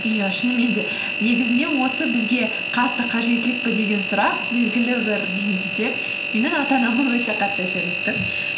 иә шынымен де негізінде осы бізге қатты қажеттілік пе деген сұрақ белгілі бір деңгейде менің ата анама өте қатты әсер етті